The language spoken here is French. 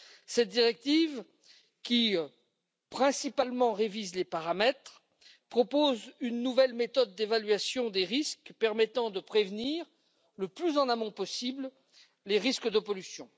Cette directive, qui principalement révise les paramètres, propose une nouvelle méthode d'évaluation des risques permettant de prévenir le plus en amont possible les risques de pollution.